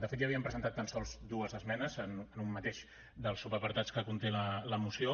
de fet hi havíem presentat tan sols dues esmenes en un mateix dels subapartats que conté la moció